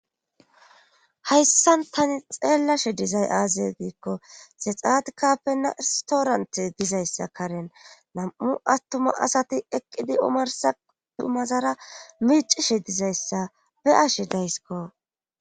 hayssan tani xeellashe dizay aaze giikko zexaat kappena istoorante dizayssa karen nam7u attuma asati eqqidi omarsa dhumazara miicishe dizayssa be7ashe daysiko